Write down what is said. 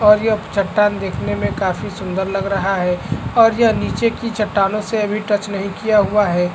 और ये अब चट्टान देखने मे काफी सुंदर लग रहा है और यहाँ नीचे की चट्टानों से अभी टच नहीं किया हुआ है |